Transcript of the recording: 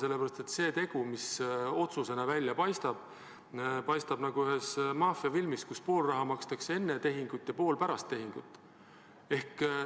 Sellepärast et see tegu, mis otsusena välja paistab, paistab nagu ühes maffiafilmis, kus pool raha makstakse enne tehingut ja pool pärast tehingut.